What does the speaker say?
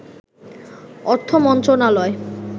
অর্থ মন্ত্রণালয়